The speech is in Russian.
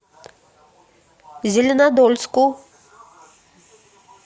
зеленодольску